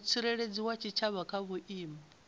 mutsireledzi wa tshitshavha kha vhuimo